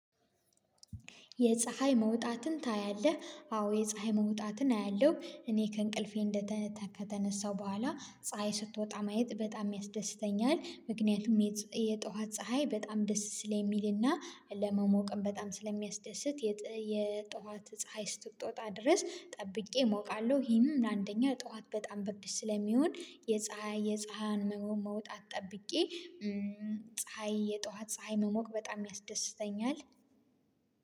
የፀሀይ መውጣትን ታያለህ? አዎ የፀሀይ መውጣትን አያለሁ። እኔ ከእንቅልፌ ከተነሳሁ በኋላ ፀሀይ ስትወጣ ማየት በጣም ያስደስተኛል። ምክንያቱም የጧት ፀሀይ በጣም ደስ ስለሚልና ለመሞቅም በጣም ስለሚያስደስት የጠዋት ፀሀይ እስክትወጣ ድረስ ጠብቄ እሞቃለሁ። ይሄም አንደኛ ጠዋት በጣም ብርድ ስለሚሆን የፀሀይዋን መውጣት ጠብቄ። ፀሀይ የጧት ፀሀይ መሞቅ በጣም ያስደስተኛል